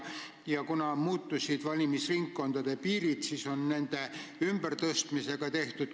Valimisringkondade piirid nüüd muutusid, mis on tekitanud küsimusi nende ümbertõstmise kohta.